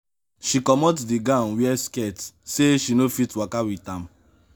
she comot di gown wear skirt sey she no fit waka wit am.